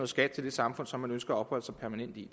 skat til det samfund som man ønsker at opholde sig permanent i